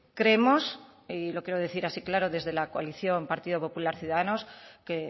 creemos y lo quiero decir así claro desde la coalición partido popular ciudadanos que